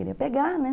Ele ia pegar, né?